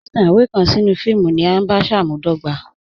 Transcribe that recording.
Titan iwe kan sí ní fíìmù ní à nṣámùbàdọ̀gbà